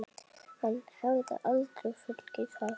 Hann hefði aldrei fengið það.